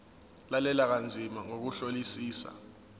lalela kanzima ngokuhlolisisa